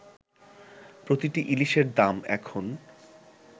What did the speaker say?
প্রতিটি ইলিশের দাম এখন